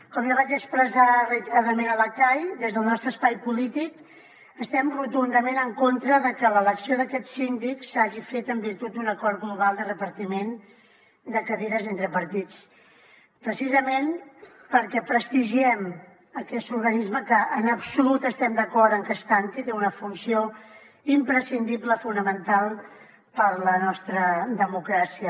com ja vaig expressar reiteradament a la cai des del nostre espai polític estem rotundament en contra de que l’elecció d’aquest síndic s’hagi fet en virtut d’un acord global de repartiment de cadires entre partits precisament perquè prestigiem aquest organisme que en absolut estem d’acord amb que es tanqui té una funció imprescindible fonamental per a la nostra democràcia